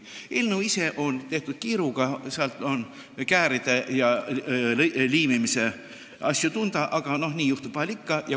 Eelnõu ise on tehtud kiiruga, seal on näha kääride ja liimi jälgi, aga nii vahel ikka juhtub.